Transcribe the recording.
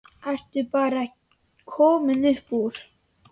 Ertu bara komin upp úr?